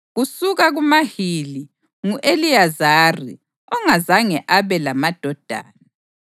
Kusuka kuMahili: ngu-Eliyezari, ongazange abe lamadodana.